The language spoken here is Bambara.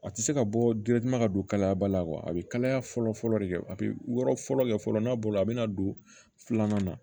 A tɛ se ka bɔ ka don kalaya ba la a bɛ kalaya fɔlɔ fɔlɔ de a bɛ yɔrɔ fɔlɔ kɛ fɔlɔ n'a bolo a bɛ na don filanan na